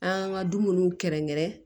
An ka dumuniw kɛrɛnkɛrɛn